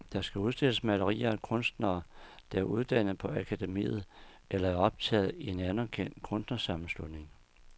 Der udstilles malerier af kunstnere, der er uddannet på akademiet eller er optaget i en anerkendt kunstnersammenslutning.